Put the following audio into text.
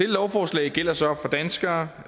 lovforslag gælder så for danskere